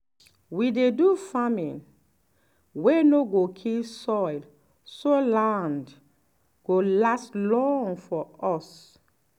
we dey do farming wey no go kill soil so land go last long for us.